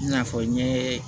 I n'a fɔ n ye